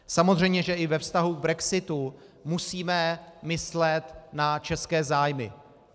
Samozřejmě že i ve vztahu k brexitu musíme myslet na české zájmy.